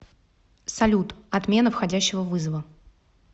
салют отмена входящего вызова